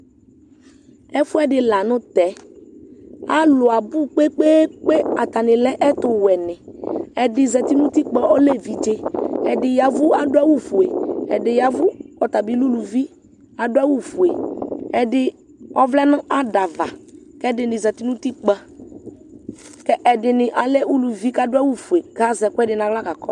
Ɛfʋɛdi lanʋtɛ alʋ abʋ kpe kpe kpe atani lɛ ɛtʋwɛni ɛdi zati nʊ utikpa ɔlɛ evidze ɛdi ya evʋ adʋ awʋfue ɛdi ya ɛva ɔtabilɛ ʋlʋbi adʋ awʋfue ɛdi ɔvlɛnʋ ada ava kʋ ɛdini zati nʋ utipka kʋ ɛdini akɛ ʋlʋvi kʋ adʋ awʋfue kʋ azɛ ɛkʋɛdi nʋ aɣla ka kɔsʋ